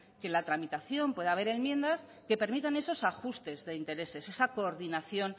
que en la tramitación pueda haber enmiendas que permitan esos ajustes de intereses esa coordinación